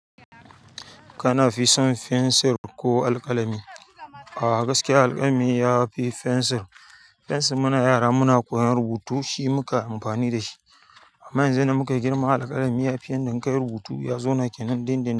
Kanafi son fensir ko alƙalami? A gaskiya alƙalami yafi fensir. Fensir muna yara muna koyan rubutu shi muka amfani da shi. Amma yanzu yadda muka girma alƙalami yafiyan dan kayi rubutu yazo nake nan dindindin.